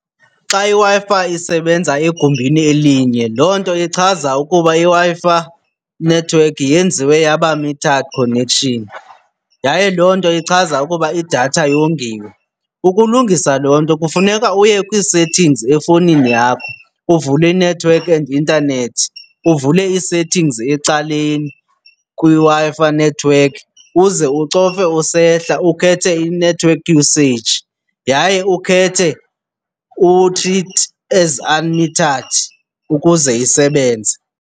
Xa iWi-Fi isebenza egumbini elinye loo nto ichaza ukuba iWi-Fi network yenziwe yaba metered connection yaye loo nto ichaza ukuba idatha yongiwe. Ukulungisa loo nto kufuneka uye kwii-settings efowunini yakho uvule i-network and internet, uvule ii-settings ecaleni kwiWi-Fi network uze ucofe usehla ukhethe i-network usage yaye ukhethe u-treat as unmetered ukuze isebenze.